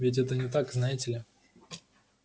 ведь это не так знаете ли